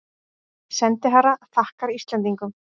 Sendiherra þakkar Íslendingum